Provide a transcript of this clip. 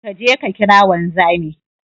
Kaje ka kira wanzami